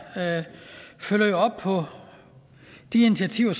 følger jo op på de initiativer